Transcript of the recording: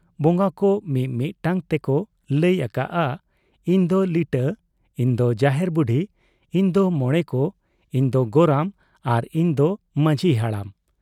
ᱵᱚᱝᱜᱟ ᱠᱚ ᱢᱤ ᱢᱤᱫᱴᱟᱝ ᱛᱮᱠᱚ ᱞᱟᱹᱭ ᱟᱠᱟᱜ ᱟ, ᱤᱧ ᱫᱚ ᱞᱤᱴᱟᱹ, ᱤᱧ ᱫᱚ ᱡᱟᱦᱮᱨ ᱵᱩᱰᱦᱤ , ᱤᱧ ᱫᱚ ᱢᱚᱬᱮ ᱠᱚ , ᱤᱧ ᱫᱚ ᱜᱚᱨᱟᱢ ᱟᱨ ᱤᱧ ᱫᱚ ᱢᱟᱡᱷᱤ ᱦᱟᱲᱟᱢ ᱾